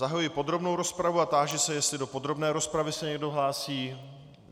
Zahajuji podrobnou rozpravu a táži se, jestli do podrobné rozpravy se někdo hlásí.